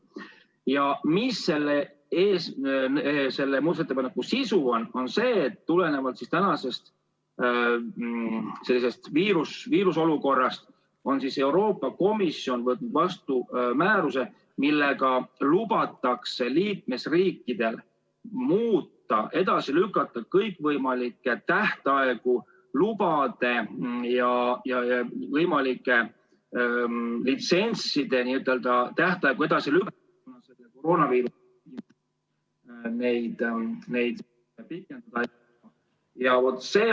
Ja selle ettepaneku sisu on, et tulenevalt praegusest viiruseolukorrast on Euroopa Komisjon võtnud vastu määruse, millega lubatakse liikmesriikidel edasi lükata kõikvõimalike lubade ja litsentside tähtaegu.